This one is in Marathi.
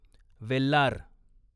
वेल्लार